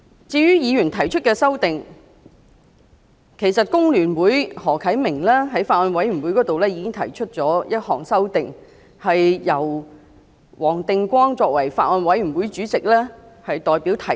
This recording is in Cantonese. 至於議員提出的修訂，其實香港工會聯合會的何啟明議員在法案委員會裏提出了一項修訂，由法案委員會主席黃定光議員代表提出。